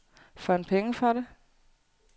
Får han penge for det?